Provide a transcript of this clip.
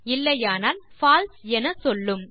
இல்லையானால் பால்சே என சொல்லும்